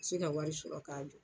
se ka wari sɔrɔ k'a jɔ.